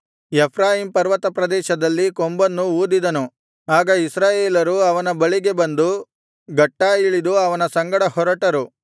Ephraim ಪರ್ವತಪ್ರದೇಶದಲ್ಲಿ ಕೊಂಬನ್ನು ಊದಿದನು ಆಗ ಇಸ್ರಾಯೇಲರು ಅವನ ಬಳಿಗೆ ಬಂದು ಗಟ್ಟಾ ಇಳಿದು ಅವನ ಸಂಗಡ ಹೊರಟರು